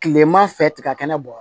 Kileman fɛ tiga kɛnɛ b'a kɔrɔ